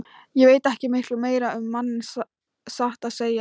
Ég veit ekki miklu meira um manninn, satt að segja.